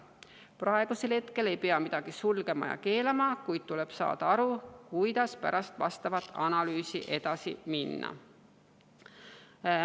Praegu ei pea midagi sulgema ega keelama, kuid tuleb saada aru, kuidas pärast analüüsi edasi minna.